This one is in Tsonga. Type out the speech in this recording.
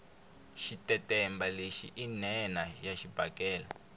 xitetemba lexi i nhenha ya xibakele